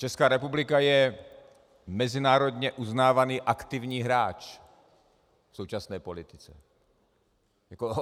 Česká republika je mezinárodně uznávaný aktivní hráč v současné politice.